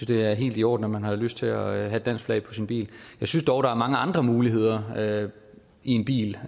det er helt i orden at man har lyst til at have et dansk flag på sin bil jeg synes dog der er mange andre muligheder i med en bil